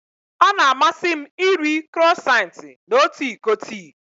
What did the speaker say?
Ọ na-amasị m iri Crọisantị na otu iko tii.